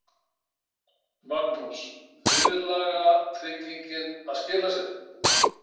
Magnús: Viðlagatryggingin að skila sér?